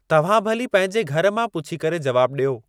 तव्हां भली पंहिंजे घर मां पुछी करे जवाब ॾियो।